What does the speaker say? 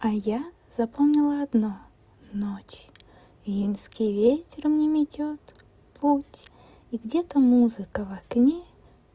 а я запомнила одно ночь июньский вечером не метёт путь и где-то музыка в окне